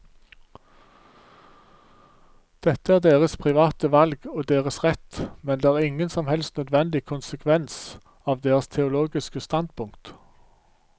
Dette er deres private valg og deres rett, men det er ingen som helst nødvendig konsekvens av deres teologiske standpunkt.